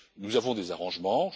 Nous avons des arrangements.